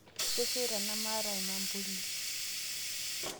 Kesheita namaata lmampuli